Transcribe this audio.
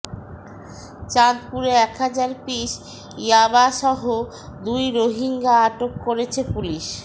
চাঁদপুরে একহাজার পিস ইয়াবাসহ দুই রোহিঙ্গা আটক করেছে পুলিশ